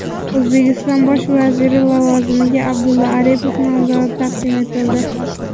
O‘zbekiston bosh vaziri lavozimiga Abdulla Aripov nomzodi taqdim etildi.